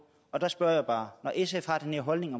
der spørger jeg bare når sf har den her holdning